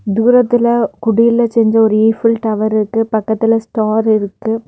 தூரத்துல குடியில செஞ்ச ஒரு ஈபில் டவர் இருக்கு பக்கத்துல ஸ்டார் இருக்கு.